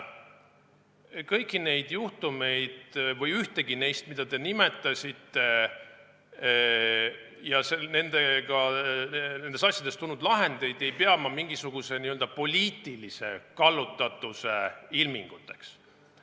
Kõigist neid juhtumitest, mida te nimetasite, ja nendes asjades tulnud lahenditest ei pea ma ühtegi mingisuguse n-ö poliitilise kallutatuse ilminguks.